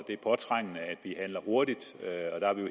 det er påtrængende at vi handler hurtigt